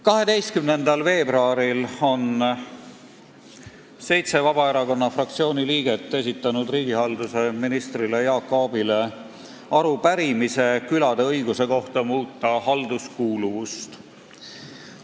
12. veebruaril esitasid Vabaerakonna fraktsiooni seitse liiget riigihalduse ministrile Jaak Aabile arupärimise külade õiguse kohta muuta halduskuuluvust.